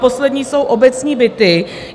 Poslední jsou obecní byty.